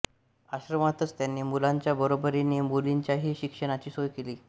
आश्रमातच त्यांनी मुलांच्या बरोबरीने मुलींच्याही शिक्षणाची सोय केली